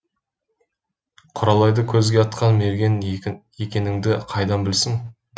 құралайды көзге атқан мерген екеніңді қайдан білсін